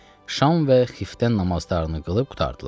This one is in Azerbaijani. Şam və xiftən namazlarını qılıb qurtardılar.